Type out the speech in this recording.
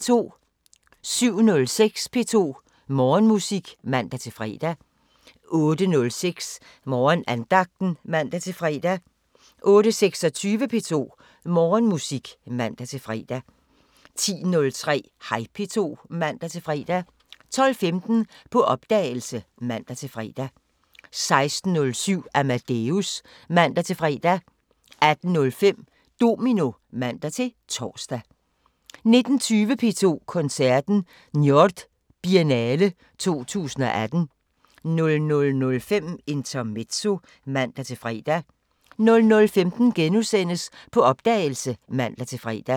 07:06: P2 Morgenmusik (man-fre) 08:06: Morgenandagten (man-fre) 08:26: P2 Morgenmusik (man-fre) 10:03: Hej P2 (man-fre) 12:15: På opdagelse (man-fre) 16:07: Amadeus (man-fre) 18:05: Domino (man-tor) 19:20: P2 Koncerten: Njord-Biennale 2018 00:05: Intermezzo (man-fre) 00:15: På opdagelse *(man-fre)